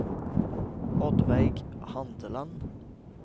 Oddveig Handeland